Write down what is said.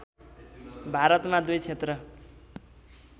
भारतमा दुई क्षेत्र